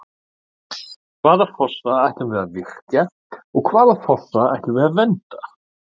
Hvaða fossa ætlum við að virkja og hvaða fossa ætlum við að vernda?